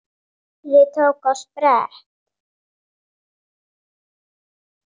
Týri tók á sprett.